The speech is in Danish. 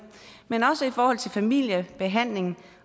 men også i forhold til familiebehandling